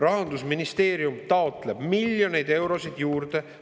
Rahandusministeerium taotleb miljoneid eurosid juurde.